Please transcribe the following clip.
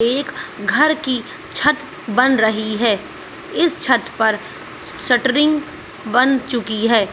एक घर की छत बन रही है। इस छत पर शटरिंग बन चुकी है।